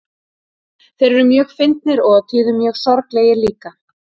Þeir eru mjög fyndnir og á tíðum mjög sorglegir líka.